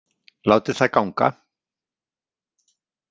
Látið það ganga.